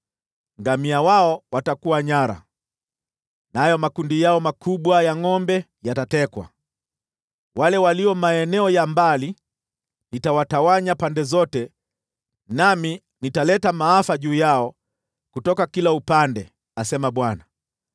Ngamia wao watakuwa nyara, nayo makundi yao makubwa ya ngʼombe yatatekwa. Wale walio maeneo ya mbali nitawatawanya pande zote, nami nitaleta maafa juu yao kutoka kila upande,” asema Bwana .